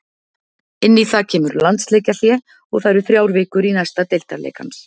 Inn í það kemur landsleikjahlé og það eru þrjár vikur í næsta deildarleik hans.